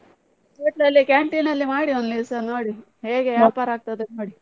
Hotel ಅಲ್ಲಿ canteen ಅಲ್ಲಿ ಮಾಡಿ ಒಂದ್ ದಿವ್ಸ ನೋಡಿ, ಹೇಗೆ ಆಗ್ತದೆ ನೋಡಿ.